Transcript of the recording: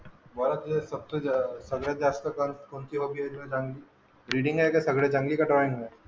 बऱ्याच वेळ बघतोय सगळ्यात जास्त टाइम कोणत्या हॉबी ला देतोय? रिडींग आहे का सगळ्यात चांगली कि ड्रॉईंग.